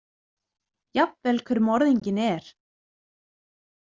Jafnvel hver morðinginn er.